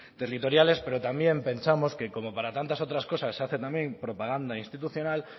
territoriales pero también pensamos que como para tantas otras cosas se hace también propaganda institucional